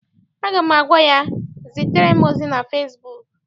Aga m agwa ya, zitere m ozi na fesibuuku!